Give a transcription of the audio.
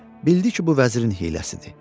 Bildi ki, bu vəzirin hiyləsidir.